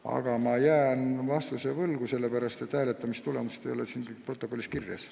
Aga ma jään vastuse võlgu, sellepärast et hääletamistulemust ei ole siin kirjas.